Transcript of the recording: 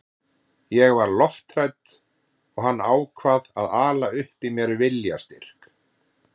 Ég var lofthrædd og hann ákvað að ala upp í mér viljastyrk.